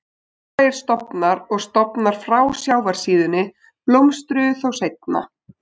Norðlægir stofnar og stofnar frá sjávarsíðunni blómstruðu þó seinna.